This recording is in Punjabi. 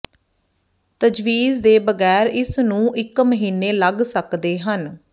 ਤਜਵੀਜ਼ ਦੇ ਬਗੈਰ ਇਸ ਨੂੰ ਇੱਕ ਮਹੀਨੇ ਲੱਗ ਸਕਦੇ ਹਨ